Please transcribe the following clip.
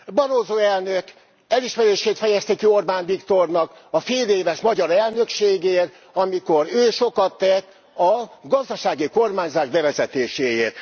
Barroso elnök elismerését fejezte ki Orbán Viktornak a féléves magyar elnökségért, amikor ő sokat tett a gazdasági kormányzás bevezetéséért.